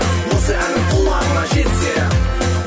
осы әнім құлағыңа жетсе